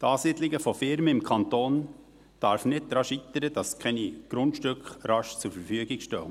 – Die Ansiedlung von Firmen im Kanton darf nicht daran scheitern, dass keine Grundstücke rasch zur Verfügung stehen.